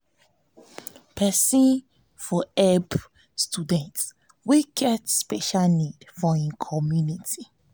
person for help student wey get special needs for im commumity